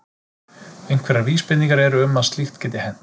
Einhverjar vísbendingar eru um að slíkt geti hent.